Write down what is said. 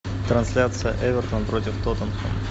трансляция эвертон против тоттенхэм